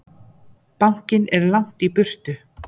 Bankinn er langt í burtu.